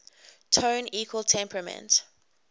tone equal temperament